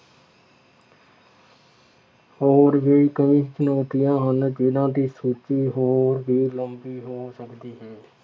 ਹੋਰ ਵੀ ਕਈ ਚੁਣੌਤੀਆਂ ਹਨ ਜਿੰਨ੍ਹਾ ਦੀ ਸੂਚੀ ਹੋਰ ਵੀ ਲੰਬੀ ਹੋ ਸਕਦੀ ਹੈ।